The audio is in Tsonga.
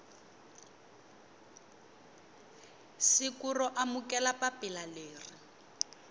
siku ro amukela papila leri